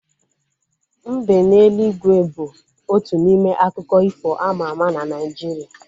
Mbe n'eluigwe bu otu n'ime akụkọ ifo ama ama na Naijiria